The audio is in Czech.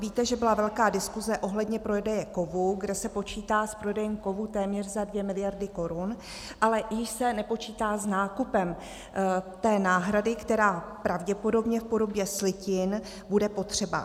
Víte, že byla velká diskuse ohledně prodeje kovů, kde se počítá s prodejem kovů téměř za 2 miliardy korun, ale již se nepočítá s nákupem té náhrady, která pravděpodobně v podobě slitin bude potřeba.